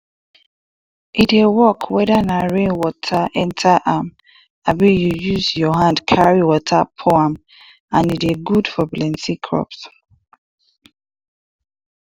e dey work weda na rain water enta am abi u use your hand carry water pour am and e dey good for plenti crops